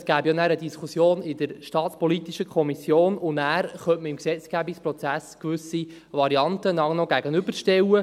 Das gäbe ja dann eine Diskussion in der SAK, und danach könnte man im Rahmen des Gesetzgebungsprozesses gewisse Varianten einander gegenüberstellen.